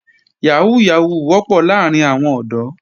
Yàhóó Yàhóó wọ́pọ̀ láàrín àwọn ọ̀dọ́